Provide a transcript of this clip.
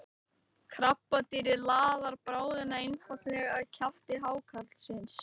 krabbadýrið laðar bráðina einfaldlega að kjafti hákarlsins